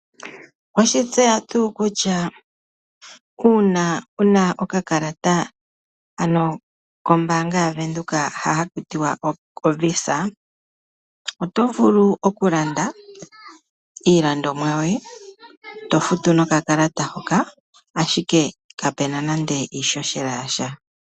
Oweshi tseya tuu kutya uuna wuna okakalata kombaanga yaVenduka hoka hakutiwa ovisa oto vulu okulanda nokakalata hoka ihe kapena nande iishoshela yasha.